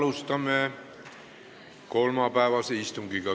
Alustame kolmapäevast istungit.